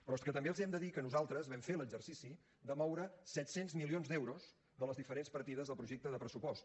però és que també els hem de dir que nosaltres vam fer l’exercici de moure set cents milions d’euros de les diferents partides del projecte de pressupost